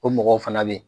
O mɔgɔw fana bɛ yen